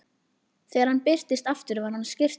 Þegar hann birtist aftur var hann á skyrtunni.